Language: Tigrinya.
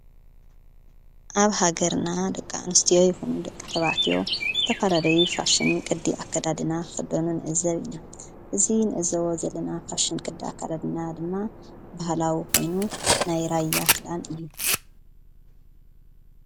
ኣብ ሃገርና ደቃ ንስትዮ ይኹኑ ደቂ ተባትዮ ዝተፋላለዩ ፋሽን ቅዲ ኣከዳድና ኽበኑ ንእዘር ኢነ እዙይ ንእዘዎ ዘለና ፋሽን ቅዲ ኣካዳድና ድማ ብህላዊ ኾይኑ ናይ ራያ ኽዳን እዩ።